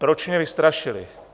Proč mě vystrašily?